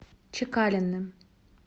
чекалиным